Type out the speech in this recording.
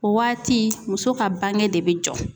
O waati muso ka bange de bɛ jɔ.